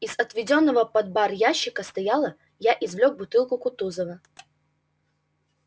из отведённого под бар ящика стола я извлёк бутылку кутузова